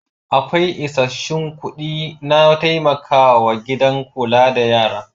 Akwai isassun kuɗi na taimakawa gidan kula da yara.